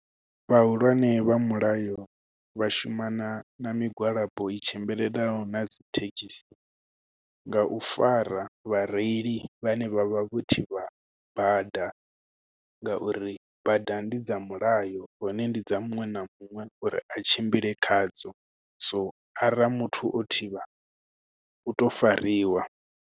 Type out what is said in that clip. Vhahulwane vha mulayo vha shuma na na migwalabo i tshimbilelanaho na dzi thekhisi nga u fara vhareili vhane vhavha vho thivha bada ngauri bada ndi dza mulayo hone ndi dza muṅwe na muṅwe uri a tshimbile khadzo so ara muthu o thivha u to fariwa.